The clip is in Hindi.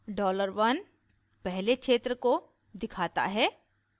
$1 dollar 1 पहले क्षेत्र को दिखाता है